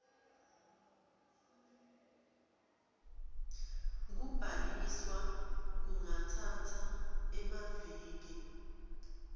kubhaliswa kungatsatsa emaviki